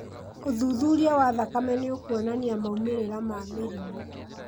ũthuthuria wa thakame nĩũkuonania maumĩrĩra ma mĩrimũ